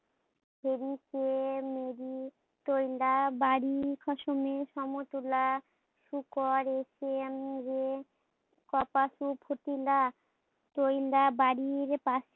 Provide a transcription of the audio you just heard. audio স্পষ্ট নয়